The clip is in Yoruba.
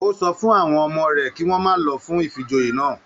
O sọ fún àwọn ọmọ rẹ kí wọn má lọ fún ifíjòyè náà.